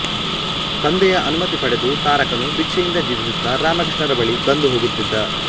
ತಂದೆಯ ಅನುಮತಿ ಪಡೆದು ತಾರಕನು ಭಿಕ್ಷೆಯಿಂದ ಜೀವಿಸುತ್ತಾ ರಾಮಕೃಷ್ಣರ ಬಳಿ ಬಂದು ಹೋಗುತ್ತಿದ್ದ